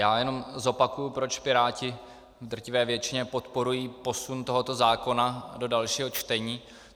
Já jenom zopakuji, proč Piráti v drtivé většině podporují posun tohoto zákona do dalšího čtení.